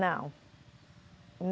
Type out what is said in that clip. Não.